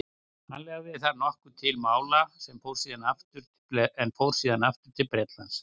hann lagði þar nokkuð til mála en fór síðan aftur til bretlands